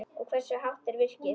Og hversu hátt er virkið?